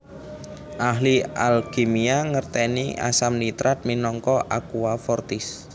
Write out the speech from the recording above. Ahli alkimia ngertèni asam nitrat minangka aqua fortis